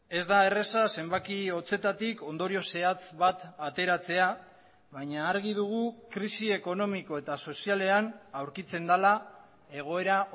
ez da erraza zenbaki hotzetatik ondorio zehatz bat ateratzea baina argi dugu krisi ekonomiko eta sozialean aurkitzen dela egoera